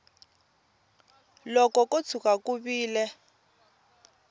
loko ko tshuka ku vile